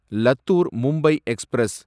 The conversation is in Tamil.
லத்தூர் மும்பை எக்ஸ்பிரஸ்